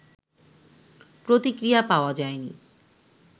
প্রতিক্রিয়া পাওয়া যায়নি